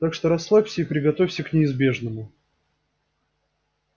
так что расслабься и приготовься к неизбежному